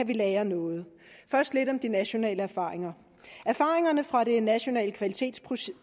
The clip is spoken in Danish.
kan lære noget først lidt om de nationale erfaringer erfaringerne fra det nationale kvalitetsprojekt